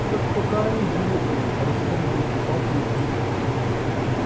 ну так покорми животную рассердился папулька